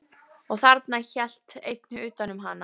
Og þarna hélt einn utan um hana.